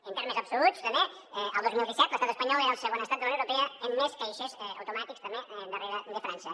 en termes absoluts també el dos mil disset l’estat espanyol era el segon estat de la unió europea amb més caixers automàtics també darrere de frança